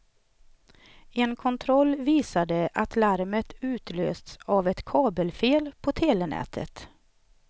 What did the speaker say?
En kontroll visade att larmet utlösts av ett kabelfel på telenätet.